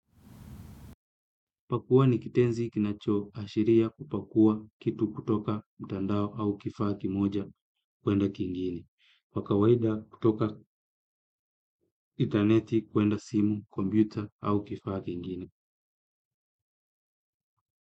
Pakua ni kitenzi kinachoashiria kupakua kitu kutoka mtandao au kifaa kimoja kuenda kingine. Kwa kawaida kutoka interneti kuenda simu, komputer au kifaa kingine.